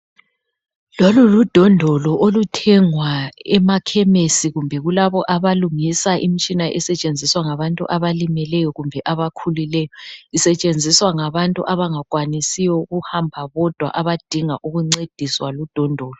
Lolu ludondolo oluthengwa emakhemisi kumbe kulabo abalungisa imitshina esetshenziswa ngabantu abalimeleyo kumbe abakhulileyo. Isetshenziswa ngabantu abangakwanisiyo ukuhamba bodwa abadinga ukuncediswa ludondolo.